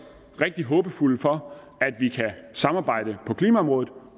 rigtig håbefulde for at vi kan samarbejde på klimaområdet